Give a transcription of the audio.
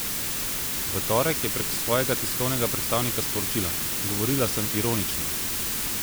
V torek je prek svojega tiskovnega predstavnika sporočila: "Govorila sem ironično.